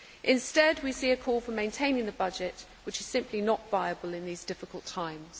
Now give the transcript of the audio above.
Instead, we see a call for maintaining the budget which is simply not viable in these difficult times.